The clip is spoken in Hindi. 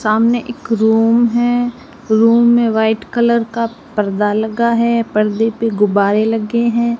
सामने एक रूम है रूम में वाइट कलर का पर्दा लगा है पर्दे पे गुब्बारे लगे हैं।